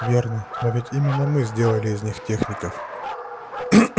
верно но ведь именно мы сделали из них техников